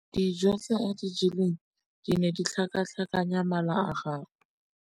Dijô tse a di jeleng di ne di tlhakatlhakanya mala a gagwe.